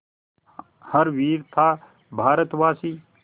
हर वीर था भारतवासी